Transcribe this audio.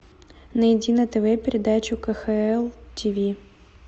найди на тв передачу кхл тв